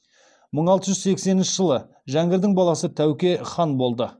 мың алты жүз сексенінші жәңгірдің баласы тәуке хан болды